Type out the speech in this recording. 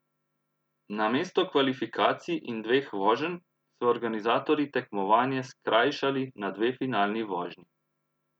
Namesto kvalifikacij in dveh voženj so organizatorji tekmovanje skrajšali na dve finalni vožnji.